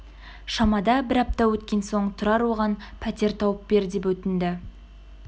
шамада бір апта өткен соң тұрар оған пәтер тауып бер деп өтінді